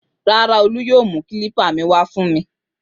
Rárá, Olú yóò mú kílípà mi wá fún mi.